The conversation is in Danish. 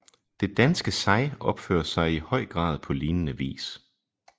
Det danske sig opfører sig i høj grad på lignende vis